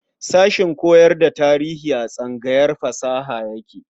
Sashen koyar da tarihi a tsangayar fasaha yake.